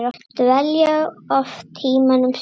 Dvelja oft tímunum saman í